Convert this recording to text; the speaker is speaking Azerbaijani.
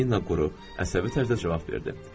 Polina quru, əsəbi tərzdə cavab verdi.